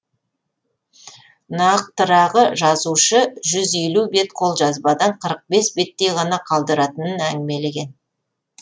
нақтырағы жазушы жүз елу бет қолжазбадан қырық бес беттей ғана қалдыратынын әңгімелеген